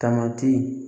Tamati